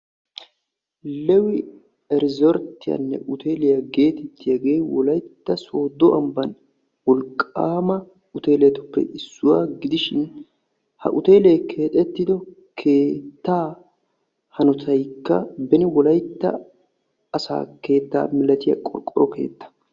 Lewi iriizorttiyaanne uteeliya geetettiyagee wolayitta sooddo ambban wolqaama uteeletuppe issuwa gidishin ha uteelee keexettido keettaa hanotaykka beni wolaytta asaa keetta milatiya qorqoro keettaa.